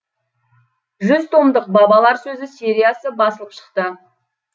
жүз томдық бабалар сөзі сериясы басылып шықты